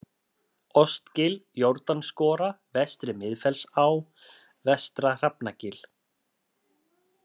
Ostgil, Jórdansskora, Vestri-Miðfellsá, Vestra-Hrafnagil